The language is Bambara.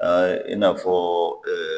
i n'a fɔ